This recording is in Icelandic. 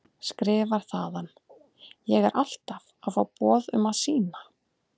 Skrifar þaðan: Ég er alltaf að fá boð um að sýna.